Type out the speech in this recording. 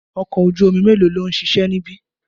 Ọkọ̀ ojú omi melo lòun ṣiṣẹ́ níbi?